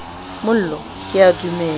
mollo ke a dumela le